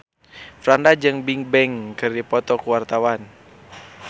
Franda jeung Bigbang keur dipoto ku wartawan